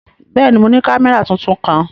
Bẹ́ẹ̀ni, mo ni kamẹra tuntun kan.